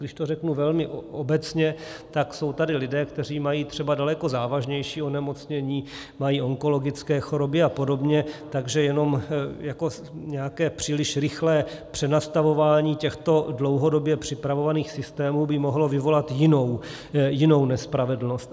Když to řeknu velmi obecně, tak jsou tady lidé, kteří mají třeba daleko závažnější onemocnění, mají onkologické choroby a podobně, takže jenom nějaké příliš rychlé přenastavování těchto dlouhodobě připravovaných systémů by mohlo vyvolat jinou nespravedlnost.